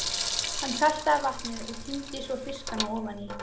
Hann saltaði vatnið og tíndi svo fiskana ofaní.